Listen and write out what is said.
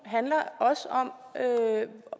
handler om